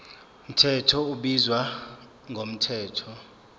mthetho ubizwa ngomthetho